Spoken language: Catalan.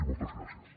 i moltes gràcies